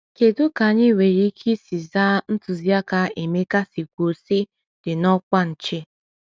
Kedu ka anyị nwere ike isi zaa ntụziaka Emeka si kwuo, sị “dị n’ọkwa nche”?